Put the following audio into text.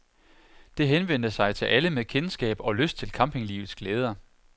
Det henvendte sig til alle med kendskab og lyst til campinglivets glæder.